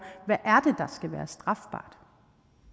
skal være strafbart